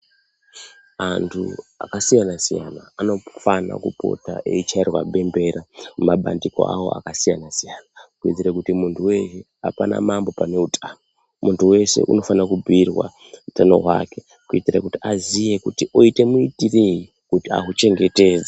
Antu akasiyana-siyana anofana kupota eichairwa bembera mumabandiko akasiyana -siyana kuitire kuti munduwee apana mambo pane utano, mundu weshe unofana kubhiirwa utano hwake kuitire kuti aziye kuti oite muitirei kuti ahuchengetedze.